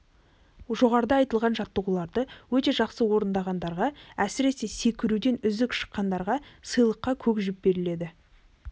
жоғарыда айтылған жаттығуларды өте жақсы орындағандарға әсіресе секіруден үздік шыққандарға сыйлыққа көк жіп беріледі